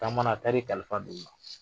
Taamana a taar'i kalifa don u ma